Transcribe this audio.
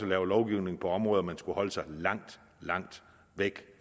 laver lovgivning på områder man skulle holde sig langt langt væk